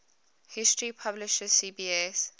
history publisher cbs